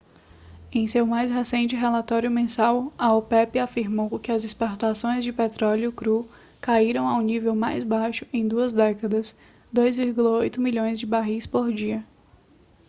em seu mais recente relatório mensal a opep afirmou que as exportações de petróleo cru caíram ao nível mais baixo em duas décadas 2,8 milhões de barris por dia